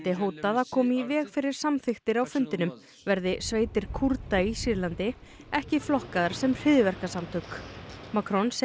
hótað að koma í veg fyrir samþykktir á fundinum verði sveitir Kúrda í Sýrlandi ekki flokkaðar sem hryðjuverkasamtök Macron segir